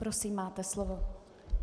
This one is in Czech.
Prosím, máte slovo.